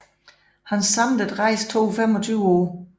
Hans samlede rejse tog 25 år